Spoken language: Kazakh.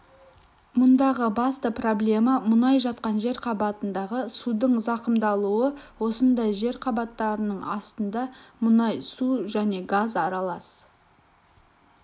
мұндағы басты проблема мұнай жатқан жер қабатындағы судың зақымдалуы осындай жер қабаттарының астында мұнай су және газ аралас